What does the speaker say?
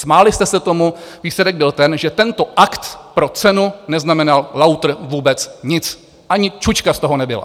Smáli jsme se tomu, výsledek byl ten, že tento akt pro cenu neznamenal lautr vůbec nic, ani čučka z toho nebyla.